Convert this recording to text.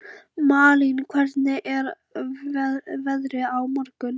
Malín, hvernig er veðrið á morgun?